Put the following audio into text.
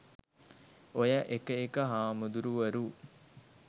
ඔය එක එක හාමුදුරුවරු